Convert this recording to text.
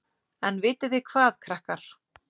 En vitiði hvað, krakkar.